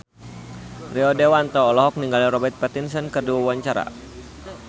Rio Dewanto olohok ningali Robert Pattinson keur diwawancara